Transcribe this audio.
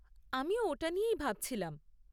আমিও ওটা নিয়েই ভাবছিলাম।